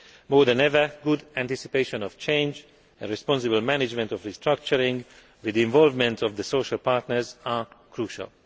More than ever, good anticipation of change and responsible management of restructuring, with the involvement of the social partners, are crucial.